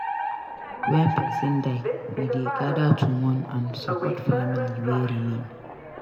Wen person die we dey gather to mourn and support family wey remain.